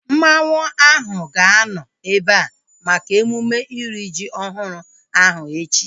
Mmanwu ahu ga-anọ ebea maka emume iri ji ọhụrụ ahu echi